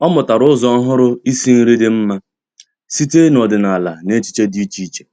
Ọ́ mụ́tàrà ụ́zọ́ ọ́hụ́rụ́ ísí nrí dị́ mma site n’ọ́dị́nála na echiche dị́ iche iche.